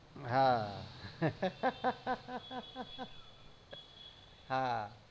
હા હા